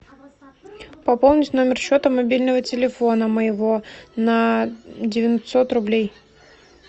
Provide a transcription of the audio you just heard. пополнить номер счета мобильного телефона моего на девятьсот рублей